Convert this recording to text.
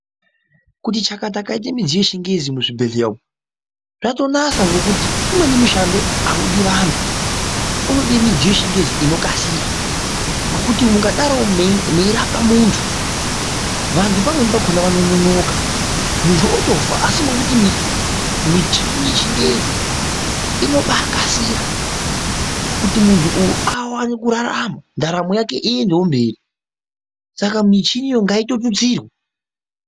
Kuti chakata kwaite midziyo yechingezi muzvibhedhleya umu zvatonasa ngekuti umweni mushando audi vanthu, unode midziyo yechingezi inokasira ngokuti mukdaro meirapa munthu, vanthu pamweni pakhona vanononoka munthu otofa, asi ngekuti michini yechingezi inobaakasira kuti munthu uyu awane kurarama ndaramo yake iendewo mberi, saka michiniyo ngaitotutsirwa .